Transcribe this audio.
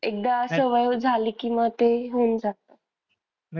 एकदा सवय झाली कि मग ते होऊन जात.